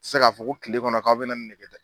tɛ se k'a fɔ ko kile kɔnɔ k'aw bɛ na nin ne kɛ dɛ.